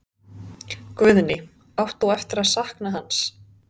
Guðný: Átt þú eftir að sakna hans?